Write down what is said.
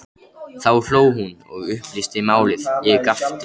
Þá hló hún og upplýsti málið, ég gapti.